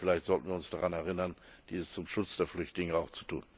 Vielleicht sollten wir uns daran erinnern, dies zum Schutz der Flüchtlinge auch zu tun.